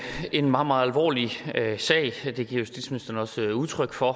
en meget meget alvorlig sag og det giver justitsministeren også udtryk for